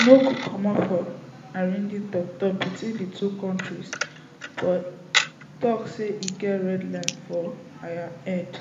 no go comot from arranging toktok between di two kontris but tok say e get red line for im head